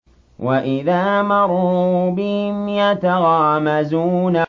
وَإِذَا مَرُّوا بِهِمْ يَتَغَامَزُونَ